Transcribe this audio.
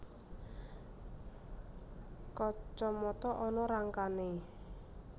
Kacamata ana rangkané